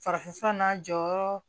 Farafinfura n'a jɔyɔrɔ